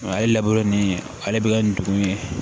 Ale laburu ni ale bɛ kɛ nin dugumun ye